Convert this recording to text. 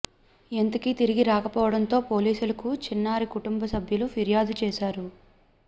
ఎంతకీ తిరిగి రాకపోవడంతో పోలీసులకు చిన్నారి కుటుంబ సభ్యులు ఫిర్యాదు చేశారు